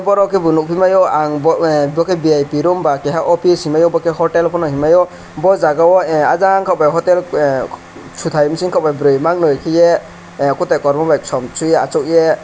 oro kebo nogoi mayo ang bo khei vip room ba office hingmai yo bo ke hotel pono hingmai o bo jaga o ajang ko bai hotel totai bising ko bai boroi mang noi kiye kotai kormo bai kosom soye asok ye.